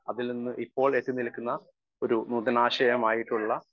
speaker 1 അതിൽനിന്ന് ഇപ്പോൾ എത്തിനിൽക്കുന്ന ഒരു നൂതനാശയമായിട്ടുള്ള